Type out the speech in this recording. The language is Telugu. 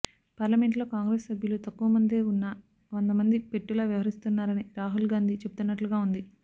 పార్లమెంటులో కాంగ్రెసు సభ్యులు తక్కువ మందే ఉన్నా వందమంది పెట్టులా వ్యవహరిస్తున్నానని రాహుల్ గాంధీ చెబుతున్నట్లుగా ఉంది